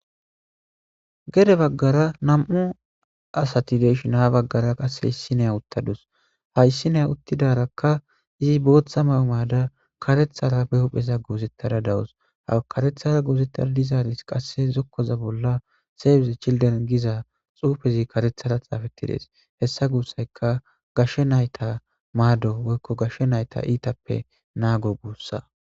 Gede baggara nam'u asatideshin ha baggara qasseheyssi neya uttadus hayssi neya uttidarakka izi booththa mawu maada karethara behopheza goozettara dawus ha karethara goozettara dizaaris qasse zokkoza bolla seeybize childen giza xuufezi karethara xaafettides hessa guussayka gashshe nayta maado woykko gashshe nayta iitappe naago guussa.